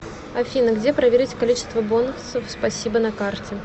афина где проверить количество бонусов спасибо на карте